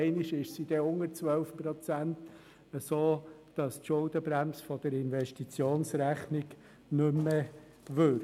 Einmal ist sie dann unter 12 Prozent, sodass die Schuldenbremse der Investitionsrechnung nicht mehr wirkt.